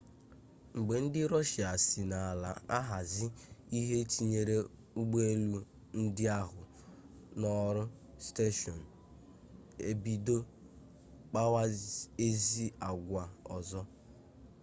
mgbe ndị rọshia si n'ala ahazi ihe tinyere ụgbọelu ndị ahụ n'ọrụ steshọn ebido kpawa ezi agwa ọzọ